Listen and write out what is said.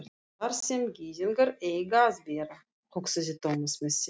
Þar sem gyðingar eiga að vera, hugsaði Thomas með sér.